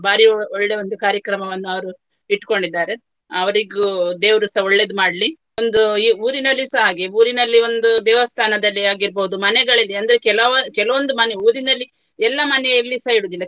ಭಾರಿ ಒ~ ಒಳ್ಳೆ ಒಂದು ಕಾರ್ಯಕ್ರಮವನ್ನು ಅವರು ಇಟ್ಕೊಂಡಿದ್ದಾರೆ. ಅವರಿಗು ದೇವರುಸ ಒಳ್ಳೇದು ಮಾಡ್ಲಿ. ಒಂದು ಊರಿನಲ್ಲಿಸ ಹಾಗೆ ಊರಿನಲ್ಲಿ ಒಂದು ದೇವಸ್ಥಾನದಲ್ಲಿ ಆಗಿರ್ಬಹುದು ಮನೆಗಳಿದೆ ಅಂದ್ರೆ ಕೆಲವ್~ ಕೆಲವೊಂದು ಮನೆ ಊರಿನಲ್ಲಿ ಎಲ್ಲಾ ಮನೆಯಲ್ಲಿಸ ಇಡುವುದಿಲ್ಲ.